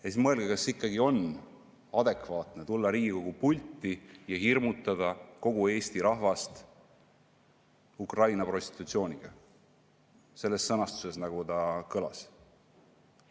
Siis mõelge, kas on ikkagi adekvaatne tulla Riigikogu pulti ja hirmutada kogu Eesti rahvast Ukraina prostitutsiooniga, selles sõnastuses, nagu see kõlas.